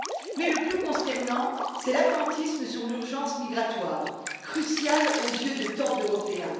Mais le plus consternant, c'est l'attentisme sur l'urgence migratoire, cruciale aux yeux de tant d'Européens.